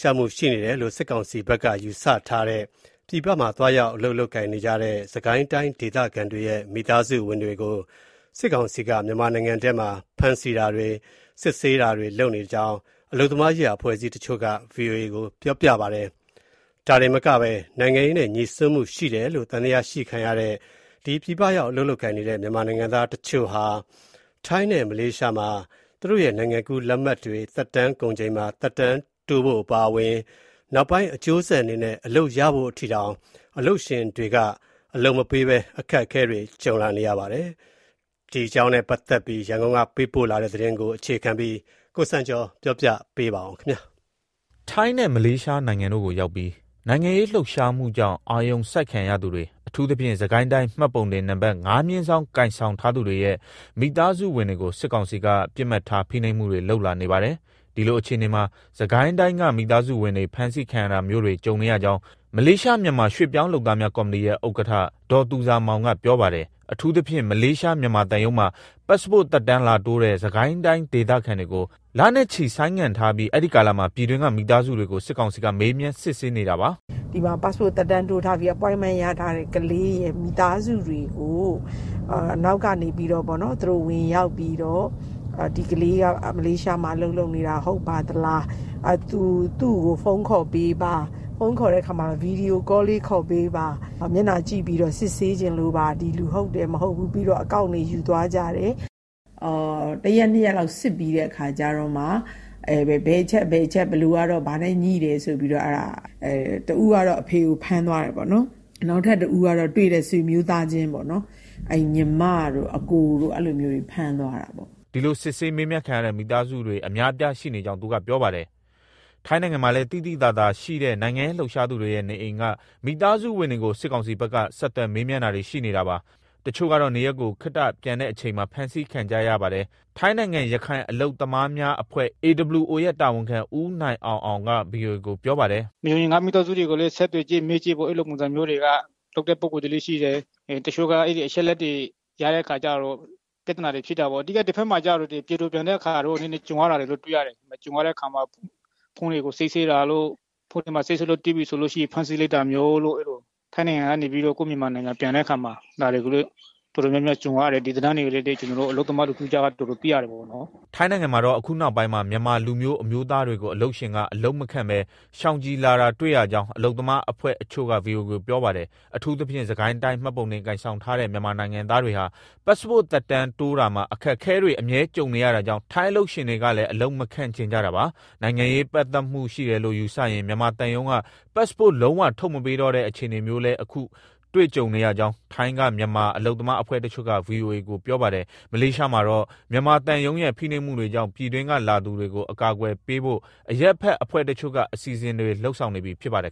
ရှားမှု ရှိနေတယ်လို့ စစ်ကောင်စီဘက်က ယူဆထားတဲ့ ပြည်ပရောက် စစ်ကိုင်းတိုင်းဒေသခံတွေရဲ့ မိသားစုဝင်တွေကို စစ်ကောင်စီက ဖမ်းဆီးတာတွေ လုပ်နေကြောင်း အလုပ်သမားရေးရာ အဖွဲ့အစည်းတချို့က ဗွီအိုအေကို ပြောပါတယ်။ ဒါတင်မကဘဲ နိုင်ငံရေးနဲ့ ငြိစွန်းမှုရှိတယ်လို့ သံသယရှိခံရတဲ့ မြန်မာနိုင်ငံသားတချို့ဟာ ထိုင်းနဲ့ မလေးရှားမှာ အလုပ်ရဖို့အထိ အခက်အခဲ ကြုံလာရတာပါ။ ရန်ကုန်ကပေးပို့တဲ့ ဒီသတင်းကို အခြေခံပြီး ကိုစံကျော်က တင်ပြပေးထားပါတယ်။ ထိုင်းနဲ့ မလေးရှားနိုင်ငံတို့ကိုရောက်နေပြီး နိုင်ငံရေးလှုပ်ရှားမှုကြောင့် အာရုံစိုက်ခံရသူတွေ၊ အထူးသဖြင့် စစ်ကိုင်းတိုင်း မှတ်ပုံတင်နံပတ် ၅/ ကိုင်ဆောင်ထားသူတွေရဲ့ မိသားစုဝင်တွေကို စစ်ကောင်စီက ပစ်မှတ်ထား ဖိနှိပ်မှုတွေ လုပ်လာနေပါတယ်။ ဒီလိုအခြေအနေမှာ စစ်ကိုင်းတိုင်းက မိသားစုဝင်တွေ ဖမ်းဆီးခံရတာမျိုးတွေ ကြုံနေရကြောင်း မလေးရှား မြန်မာရွှေ့ပြောင်းလုပ်သားများ ကော်မတီရဲ့ ဥက္ကဋ္ဌ ဒေါ်သူဇာမောင်က ပြောပါတယ်။ အထူးသဖြင့် မလေးရှား မြန်မာသံရုံးမှာ ပတ်စ်ပို့တ် သက်တမ်းလာတိုးတဲ့ စစ်ကိုင်းဒေသခံတွေကို လနဲ့ချီဆိုင်းငံ့ထားပြီး အဲဒီကာလမှာ ပြည်တွင်းက မိသားစုတွေကို စစ်ကောင်စီက မေးမြန်းစစ်ဆေးနေတာပါ။ "ဒီမှာ ပတ်စ်ပို့တ် သက်တမ်းတိုးထားပြီး Appointment ရထားတဲ့ ကလေးရဲ့ မိသားစုတွေကို အနောက်ကနေ သူတို့ဝင်ရောက်ပြီး ဒီကလေးက မလေးရှားမှာ အလုပ်လုပ်နေတာ ဟုတ်ပါသလား၊ သူ့ကို ဖုန်းခေါ်ပေးပါ၊ ဗွီဒီယိုကောလေး ခေါ်ပေးပါ၊ မျက်နှာကြည့်ပြီး စစ်ဆေးချင်လို့ပါ၊ ဒီလူဟုတ်တယ်၊ မဟုတ်ဘူး ဆိုပြီး။ ပြီးတော့ အကောင့်တွေ ယူသွားကြတယ်။ တရက်နှစ်ရက်လောက် စစ်ပြီးတဲ့အခါကြတော့မှ ဘယ်အချက်က ဘာနဲ့ငြိတယ်ဆိုပြီးမှ တဦးကတော့ အဖေကို ဖမ်းသွားတယ်ပေါ့။ နောက်ထပ်တဦးကတော့ တွေ့တဲ့ ဆွေမျိုးသားချင်းပေါ့။ ညီမတို့ အစ်ကိုတို့ အဲလိုမျိုးတွေ ဖမ်းသွားတယ်။" ဒီလို စစ်ဆေးမေးမြန်းခံရတဲ့ မိသားစုတွေ အများအပြားရှိနေကြောင်း သူကပြောပါတယ်။ ထိုင်းနိုင်ငံမှာလည်း သိသိသာသာရှိတဲ့ နိုင်ငံရေးလှုပ်ရှားသူတွေရဲ့ နေအိမ်က မိသားစုဝင်တွေကို စစ်ကောင်စီဘက်က ဆက်သွယ်၊ မေမြန်းတာတွေ ရှိနေတာပါ။ တချို့ကတော့ နေရပ်ကို ခေတ္တပြန်တဲ့အချိန်မှာ ဖမ်းဆီးခံကြရပါတယ်။ ထိုင်းနိုင်ငံ ရခိုင်အလုပ်သမားများအဖွဲ့ AWO ရဲ့တာဝန်ခံ ဦးနိုင်အောင်အောင်က ဗွီအိုအေကို ပြောပါတယ်။ "နေအိမ်က မိသားစုတွေကိုလည်း ဆက်သွယ်ကြည့်၊ မေးကြည့်ပေါ့ အဲလိုပုံစံမျိုးတွေလုပ်တဲ့ ပုဂ္ဂိုလ်တွေလည်း ရှိတယ်။ တချို့က အဲဒီ အချက်အလက်တွေ ရတဲ့အခါကြတော့ ပြဿနာတွေ ဖြစ်တာပေါ့။ တဘက်မှာတော့ ပြည်တော်ပြန်တဲ့အခါ နည်းနည်းကြုံရတာ ဖုန်းတွေကို စစ်ဆေးတာတို့၊ ဖုန်းထဲတွေ့ရင် ဖမ်းဆီးလိုက်တာမျိုး၊ ထိုင်းနိုင်ငံကနေ ကိုယ့်နိုင်ငံ ပြန်တဲ့အခါမှာ ဒါတွေကို တော်တော်များများ ကြုံရတယ်။ ဒီဇာတ်လမ်းတွေကို အလုပ်သမားတွေကြားထဲက တော်တော်သိရတယ်ပေါ့။" ထိုင်းနိုင်ငံမှာတော့ အခုနောက်ပိုင်းမှာ မြန်မာလူမျိုး အမျိုးသားတွေကို အလုပ်ရှင်က အလုပ်မခန့်ဘဲ ရှောင်ကျဉ်လာတာ တွေ့ရကြောင်း အလုပ်သမားအဖွဲ့တချို့က ဗွီအိုအေကို ပြောပါတယ်။ အထူးသဖြင့် စစ်ကိုင်းတိုင်းမှတ်ပုံတင် ကိုင်ဆောင်ထားတဲ့ မြန်မာနိုင်ငံသားတွေဟာ ပတ်ပို့စ်သက်တမ်းတိုးတာမှာ အခက်အခဲတွေ အမြဲကြုံနေရတာကြောင့် ထိုင်းအလုပ်ရှင်တွေကလည်း အလုပ်မခန့်ချင်ကြတာပါ။ နိုင်ငံရေး ပတ်သက်မှုရှိတယ်လို့ ယူဆရင် မြန်မာသံရုံးက ပတ်စ်ပို့တ် လုံးဝထုတ်မပေးတော့တဲ့ အခြေအနေမျိုးလည်း အခုတွေ့ကြုံနေရကြောင်း ထိုင်းက မြန်မာ အလုပ်သမားအဖွဲ့တချို့က ဗွီအိုအေကို ပြောပါတယ်။ မလေးရှားမှာတော့ မြန်မာသံရုံးရဲ့ ဖိနှိပ်မှုတွေကြောင့် ပြည်တွင်းက လာသူတွေကို အကာအကွယ်ပေးဖို့ အရပ်ဖက်အဖွဲ့တချို့က အစီအစဉ်တွေ လုပ်ဆောင်နေပြီ ဖြစ်ပါတယ်